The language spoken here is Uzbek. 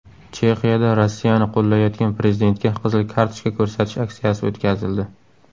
Chexiyada Rossiyani qo‘llayotgan prezidentga qizil kartochka ko‘rsatish aksiyasi o‘tkazildi.